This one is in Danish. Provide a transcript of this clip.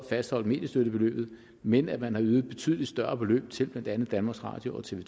fastholdt mediestøttebeløbet men at man har ydet betydelig større beløb til blandt andet danmarks radio og tv